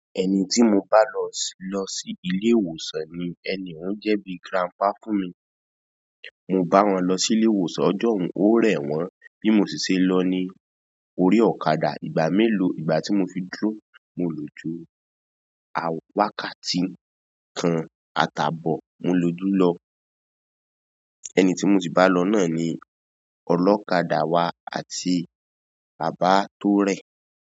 Ẹni tí mo bá lọ sí, lọ sí ilé ìwòsàn ni, ẹni ń jẹ́ bí grandpa fún mi. Mo bá wọn lọ sí ilé ìwòsàn, ọjọ́ ọ̀ún, ó rẹ̀ wọ́n bí mo ṣi ṣe lọ ní orí ọ̀kadà ìgbà mélòó, ìgbà tí mo fi dúró, mo lò ju a wakà tí kan àtàbọ̀ mo lò jú lọ. Ẹni tí mo si bá lọ náà ni ọlọ́kadà wa àti bàbá tó rẹ̀.